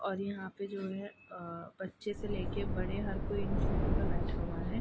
और यहां पे जो है अ बच्चे से लेके बड़े हर कोई इन झूले पे बैठा हुआ है।